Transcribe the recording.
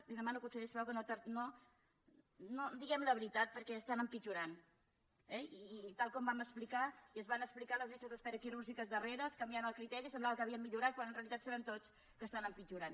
li demano conseller si us plau que diguem la veritat perquè estan empitjorant eh i tal com vam explicar i es van explicar les llistes d’espera quirúrgiques darreres canviant el criteri semblava que havien millorat quan en realitat sabem tots que estan empitjorant